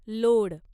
load